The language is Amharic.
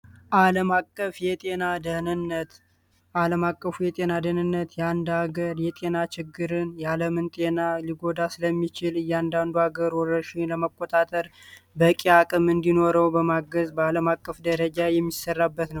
አለም አቀፉ የጤና ድንነት ያንድ አገር የጤና ችግርን የአለምን ጤና ሊጎዳ ስለሚችል እያንዳንዱ ሀገር ወረሺን ለማቆጣጥር በሕቂ አቅም እንዲኖረው በማገዝ በዓለም አቀፍ ደረጃ የሚሰራበት ነው።